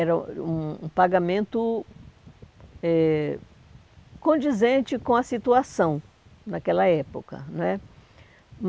Era era um um pagamento eh condizente com a situação naquela época, não é?